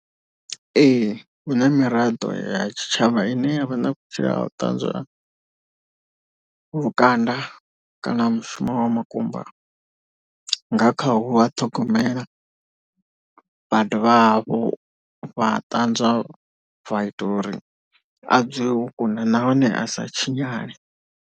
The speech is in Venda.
Ee hu na miraḓo ya tshitshavha ine yavha na vhutsila ha u ṱanzwa lukanda kana mushumo wa makumba nga khau a ṱhogomela. Vha dovha hafhu vha ṱanzwa zwa ita uri a dzule o kuna nahone a sa tshinyale.